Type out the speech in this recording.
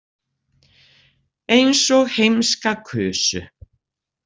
Eins og heimska kusu.